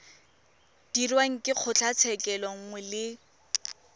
dirwang ke kgotlatshekelo nngwe le